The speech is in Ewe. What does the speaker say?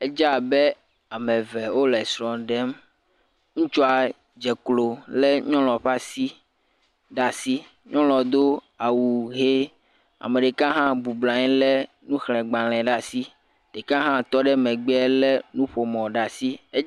Edze abe am eve wole srɔ̃ ɖem. Ŋutsua dze klo lé nyɔnuɔ ƒe asi ɖe asi. Nyɔnua do awu ʋe. Ame ɖeka hã bublɔ anye lé nuxlẽgbalẽ le asi. Ɖeka hã tɔ ɖe megbeɛ lé nuƒomɔ̃ ɖe asi e.